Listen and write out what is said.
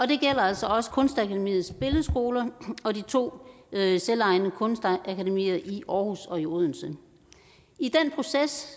det gælder altså også kunstakademiets billedskoler og de to selvejende kunstakademier i aarhus og i odense i den proces